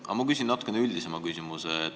Aga ma küsin natukene üldisema küsimuse.